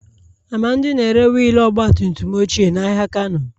Amadi na-ere wiil ọgba tum tum ochie n'ahịa kano.